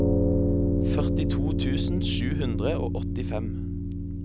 førtito tusen sju hundre og åttifem